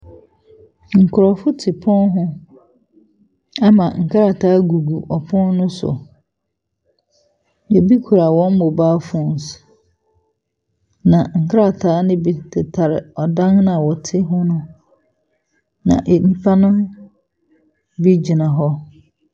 Nkurɔfo te pono ho ama nkrataa gugu ɔpon no so, na ebi kura wɔn mobile phones, na nkrataa no bi tetare dan no a wɔte ho no mu, na nnipa no bi gyina hɔ.